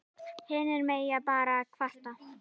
Hinir mega bara kvarta.